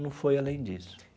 Não foi além disso.